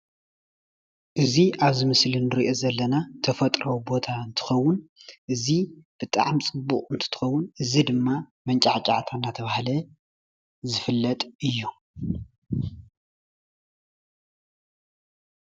እዚ ኣብ ምስሊ እንሪኦ ዘለና ናይ ተፈጥሮ ቦታ እንትከውን እዚ ብጣዕሚ ፅቡቕ እንትከውን እዚ ድማ መጫዕጫዕታ ኣናተባሃለ ዝፍለጥ እዩ።